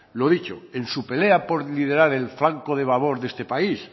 lo dicho en su pelea por liderar el flanco de babor de este país